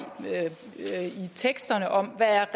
teksterne om hvad